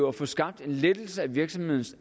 at få skabt en lettelse af virksomhedernes